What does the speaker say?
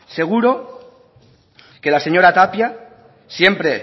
seguro que la señora tapia siempre